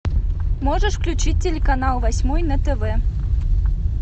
можешь включить телеканал восьмой на тв